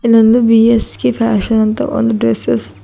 ನಂದು B S K fashion ಅಂತ ಒಂದ್ ಡ್ರೆಸ್ಸೆಸ್ --